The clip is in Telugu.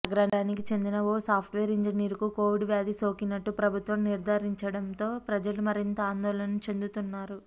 నగరానికి చెందిన ఓ సాఫ్ట్వేర్ ఇంజినీర్కు కోవిడ్ వ్యాధి సోకినట్టు ప్రభుత్వం నిర్ధారించడంతో ప్రజలు మరింత ఆందోళన చెందుతున్నారు